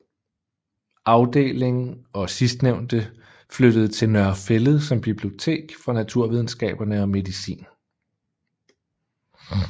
Afdeling og sidstnævnte flyttede til Nørre Fælled som bibliotek for naturvidenskaberne og medicin